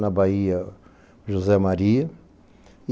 Na Bahia, José Maria.